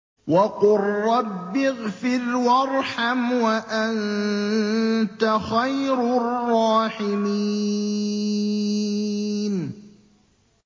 وَقُل رَّبِّ اغْفِرْ وَارْحَمْ وَأَنتَ خَيْرُ الرَّاحِمِينَ